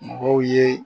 Mɔgɔw ye